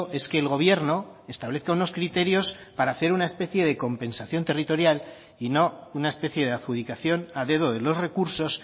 es que el gobierno establezca unos criterios para hacer una especie de compensación territorial y no una especie de adjudicación a dedo de los recursos